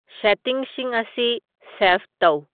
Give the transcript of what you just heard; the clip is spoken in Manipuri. ꯁꯦꯇꯤꯡꯁꯤꯡ ꯑꯁꯤ ꯁꯦꯐ ꯇꯧ